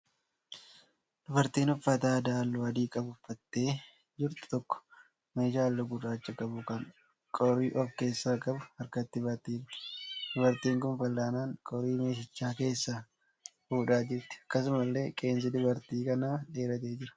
Dubartiin uffata aadaa halluu adii qabu uffattee jirtu tokko meeshaa halluu gurraacha qabu kan qorii of keessaa qabu harkatti baattee jirti. Dubartiin kun fal'aanaan qorii meeshicha keessaa fuudhaa jirti. Akkasumallee qeensi dubartii kanaa dheeratee jira.